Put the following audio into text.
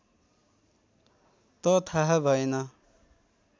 त थाह भएन